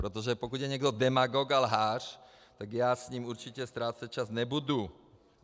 Protože pokud je někdo demagog a lhář, tak já s ním určitě ztrácet čas nebudu.